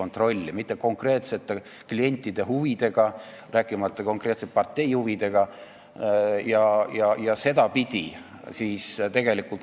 Nad ei tegele mitte konkreetsete klientide huvidega, rääkimata konkreetse partei huvidest.